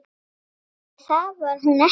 Nei, það var hún ekki.